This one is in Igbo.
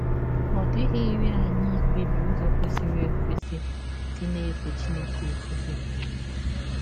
Ọ dịghịrị anyị ikpebi ụzọ kwesịrị ekwesị isi na - efe Chineke ọfụfe.